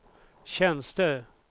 tjänster